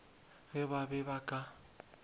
ge ba be ba ka